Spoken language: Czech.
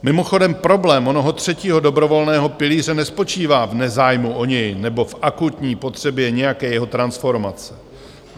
Mimochodem problém onoho třetího dobrovolného pilíře nespočívá v nezájmu o něj nebo v akutní potřebě nějaké jeho transformace.